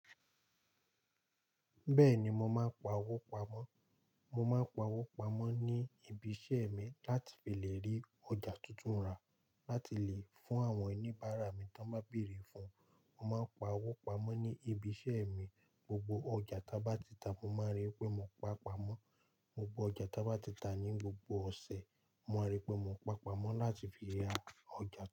Bẹ́ẹ̀ni, mo máa ń pa owó pamọ́. Mo máa ń pa owó pamọ́ ní ibi iṣẹ́ mi láti lè rí ọjà tuntun rà láti lè fún àwọn oníbàárà mi tí wọ́n bá bèèrè fún-un. Mo máa ń pa owó pamọ́ ní ibi iṣẹ́ mi. Gbogbo ọjà taba tita, mo máa rí pé mo pa pamọ́. Gbogbo ọjà taba tita ní gbogbo ọ̀sẹ̀, mo máa rí pé mo pa pamọ́ láti fi ra ọjà tuntun.